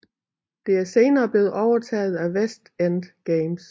Det er senere blevet overtaget af West End Games